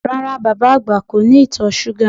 Rárá, bàbá àgbà kò ní ìtọ̀ súgà